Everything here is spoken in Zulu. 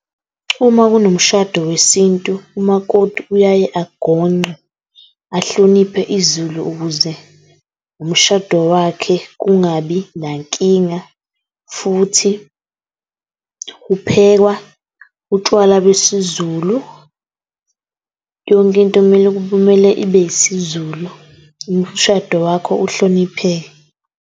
Uma kunomshado wesintu, umakoti uyaye angonqe ahloniphe isiZulu, ukuze umshado wakhe ungabi nankinga. Futhi kuphekwa utshwala besiZulu. Yonke into kumele kumele ibe yisiZulu, umshado wakho uhlonipheke.